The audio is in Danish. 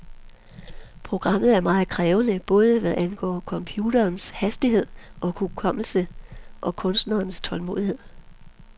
Programmet er meget krævende, både hvad angår computerens hastighed og hukommelse og kunstnerens tålmodighed.